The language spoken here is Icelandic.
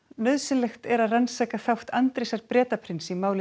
nauðsynlegt er að rannsaka þátt Andrésar Bretaprins í máli